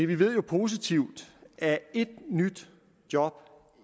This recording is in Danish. vi ved jo positivt at et nyt job